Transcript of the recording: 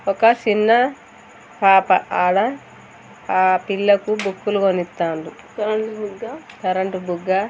ఒక చిన్న పాప ఆడ ఆ పిల్లకు బుక్కులు కొనింతాన్రు కరంట్ బుగ్గ--